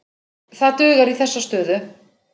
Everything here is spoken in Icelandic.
Það dugar í þessa stöðu.